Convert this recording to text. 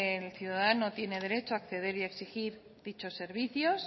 el ciudadano tiene derecho a acceder y a exigir dichos servicios